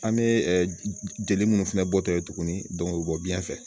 An bɛ jeli minnu fɛnɛ bɔtɔ ye tuguni o bɛ bɔ biyɛn fɛ